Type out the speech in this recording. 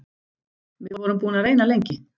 Við vorum búin að reyna lengi.